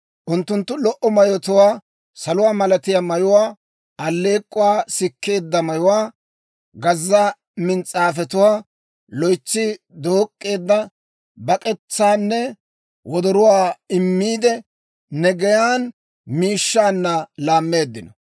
Unttunttu lo"o mayotuwaa, saluwaa malatiyaa mayuwaa, alleek'k'uwaa sikkeedda mayuwaa, gazza mins's'aafetuwaa, loytsi dook'k'eedda bak'etsaanne wodoruwaa immiide, ne geyaan miishshaanna laammeeddino.